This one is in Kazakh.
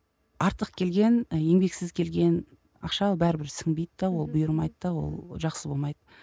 артық келген ы еңбексіз келген ақша бәрібір сіңбейді де ол бұйырмайды да ол жақсы болмайды